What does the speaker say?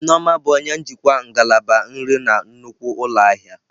Nneoma bụ onye njikwa ngalaba nri na nnukwu ụlọ ahịa.